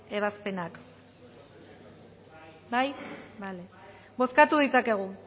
ebazpenak bai bozkatu ditzakegu